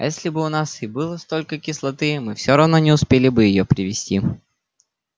а если бы у нас и было столько кислоты мы все равно не успели бы её привезти